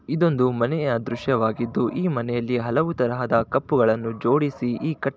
ಇದೊಂದು ಮನೆಯ ದೃಶ್ಯವಾಗಿದ್ದು ಈ ಮನೆಯಲ್ಲಿ ಹಲವು ತರಹದ ಕಪ್ಪುಗಳನ್ನು ಜೋಡಿಸಿ ಈ ಕ --